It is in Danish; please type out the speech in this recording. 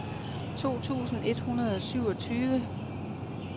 to tusind et hundrede og syvogtyve